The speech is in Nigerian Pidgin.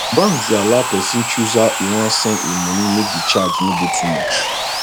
banks dey allow pesin choose how e wan send e money make the charge no dey too much